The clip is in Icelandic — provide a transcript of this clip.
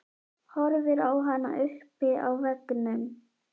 Horfir á hana uppi á veggnum.